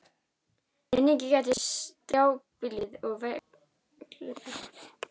Einnig gæti strjálbýlið og vegleysurnar hafa haft áhrif.